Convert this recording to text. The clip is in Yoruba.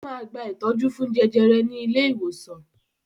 Ó máa gba ìtọ́jú fún jẹjẹrẹ ní ilé-ìwòsàn.